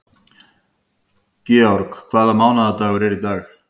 George, hvaða mánaðardagur er í dag?